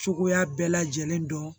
Cogoya bɛɛ lajɛlen dɔn